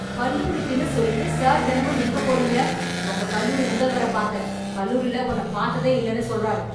கல்லூரிக்குன்னு சொல்லிட்டு சார் தெனமும் எங்கப் போறீங்க? உங்க கல்லூரி முதல்வர் பாத்தேன், கல்லூரில உன்ன பாத்ததே இல்லனு சொல்றாரு.